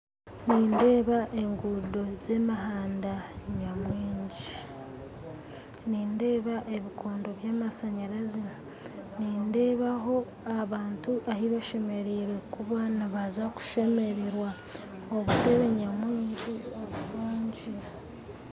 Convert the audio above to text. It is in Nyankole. Nindeeba egundo z'emihanda nyamwingi nindeeba ebikondo by'amashanyarazi nindeebaho abantu ahu bashemerire kuba nibaza kushemererwa obuteebe nyamwingi oburungi